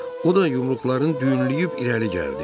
O da yumruqların düyünləyib irəli gəldi.